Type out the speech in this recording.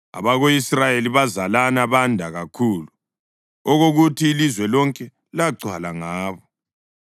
abako-Israyeli bazalana banda kakhulu, okokuthi ilizwe lonke lagcwala ngabo.